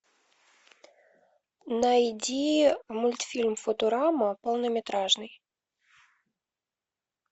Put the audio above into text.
найди мультфильм футурама полнометражный